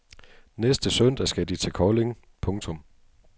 Næste søndag skal de til Kolding. punktum